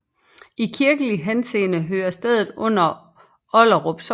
I kirkelig henseende hører stedet under Olderup Sogn